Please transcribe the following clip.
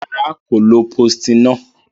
Rara, ko lo postinor.